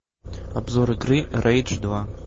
обзор игры рейдж два